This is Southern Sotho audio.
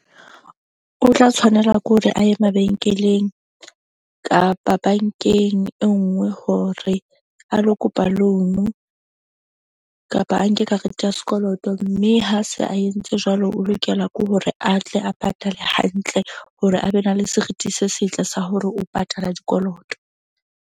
O tla tshwanela ke hore a ye mabenkeleng kapa bank-eng e nngwe hore a lo kopa loan-u kapa a nke karete ya sekoloto. Mme ha se a entse jwalo. O lokela ke hore atle a patale hantle hore a be na le serithi se setle sa hore o patala dikoloto.